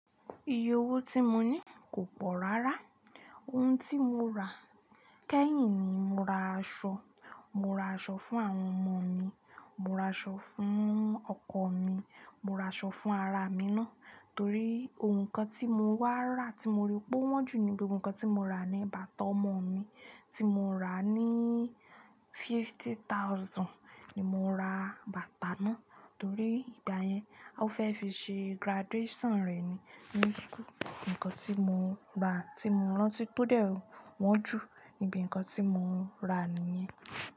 Iye owó tí mo ní kò pọ̀ rárá. Ohun tí mo rà kẹ́yìn ni, mo ra aṣọ, mo ra aṣọ fún àwọn ọmọ mi, mo ra aṣọ fún ọkọ mi, mo ra aṣọ fún ara mi ná. Torí ohun kan tí mo wá rà tí mo rí pe o wọ́n jù níbi ohun kan tí mo rà ni bàtà ọmọ mi tí mo rà ní fifty thousand ni mo ra bàtà náà torí ìgbá yẹn, a fẹ́ fi ṣe graduation rẹ̀ ni new school. Nǹkan tí mo rà tí mo rántí tó dẹ́ wọ́n jù níbi nǹkan tí mo rà nìyẹn.